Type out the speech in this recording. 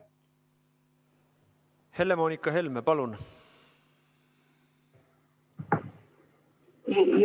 Helle-Moonika Helme, palun!